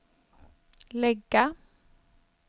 lägga